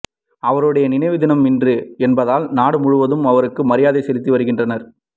அவருடைய நினைவு தினம் இன்று என்பதால் நாடு முழுவதும் அவருக்கு மரியாதை செலுத்துகின்றனர்